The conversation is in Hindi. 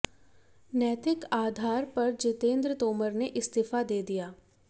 नैतिक आधार पर जितेंद्र तोमर ने इस्तीफ़ा दे दिया